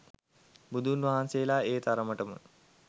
බුදුන්වහන්සේලා ඒ තරමටම